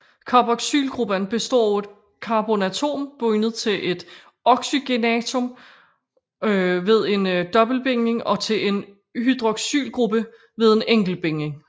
Carboxylgruppen består af et carbonatom bundet til et oxygenatom ved en dobbeltbinding og til en hydroxylgruppe ved en enkeltbinding